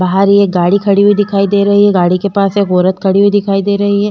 बाहर ये गाड़ी खड़ी हुवी दिखाई दे रही है। गाड़ी के पास एक औरत खड़ी हुवी दिखाई दे रही है।